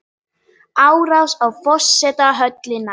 Árás á forsetahöllina